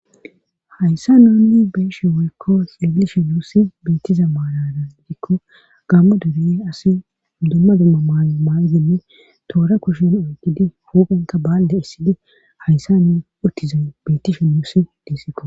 hayssa nuunni beyeshe woykko xailishe nuussi beettiza maalara gidikko gammo dure asi dumma dumma maaamaa7idinne toora kushen oygidi huuphanka baalle issidi hayssa nu uttize betishe muussi diisikko